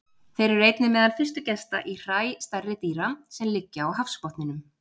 Þeir eru einnig meðal fyrstu gesta í hræ stærri dýra sem liggja á hafsbotninum.